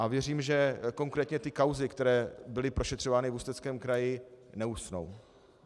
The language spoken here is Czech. A věřím, že konkrétně ty kauzy, které byly prošetřovány v Ústeckém kraji, neusnou.